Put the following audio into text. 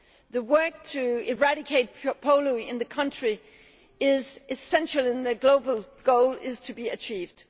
The work to eradicate polio in the country is essential if the global goal is to be achieved.